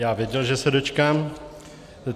Já věděl, že se dočkám.